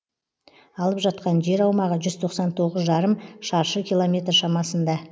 алып жатқан жер аумағы жүз тоқсан тоғыз жарым шаршы километр шамасында